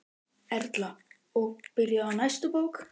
Erla: Og byrjuð á næstu bók?